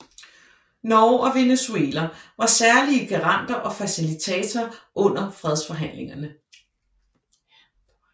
Norge og Venezuela var særlige garanter og facilitatorer under fredsforhandlingerne